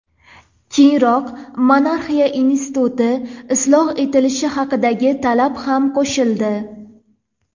Keyinroq monarxiya instituti isloh etilishi haqidagi talab ham qo‘shildi.